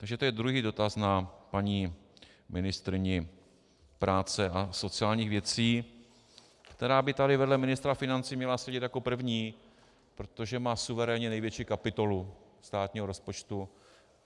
Takže to je druhý dotaz na paní ministryni práce a sociálních věcí, která by tady vedle ministra financí měla sedět jako první, protože má suverénně největší kapitolu státního rozpočtu.